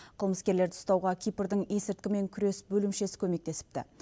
қылмыскерлерді ұстауға кипрдің есірткімен күрес бөлімшесі көмектесіпті